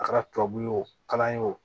A kɛra tubabu ye o kalan ye o